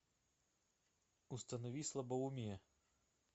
установи слабоумие